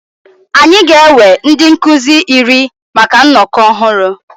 Anyị ga-ewe ndị nkuzi iri maka nnọkọ ọhụrụ.